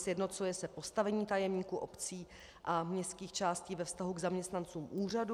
Sjednocuje se postavení tajemníků obcí a městských částí ve vztahu k zaměstnancům úřadu.